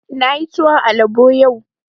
Na yi tuwon alabo yau